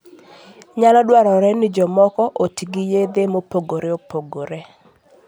Nyalo dwarore ni jomoko oti gi yedhe mopogore opogore.